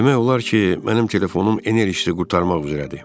Demək olar ki, mənim telefonum enerjisi qurtarmaq üzrədir.